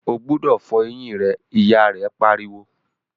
o gbúdọ̀ fọ eyín rẹ! ìyá rẹ̀ pariwo.